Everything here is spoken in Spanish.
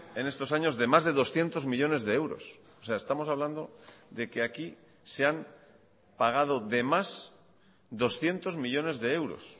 en estos años de más de doscientos millónes de euros o sea estamos hablando de que aquí se han pagado de más doscientos millónes de euros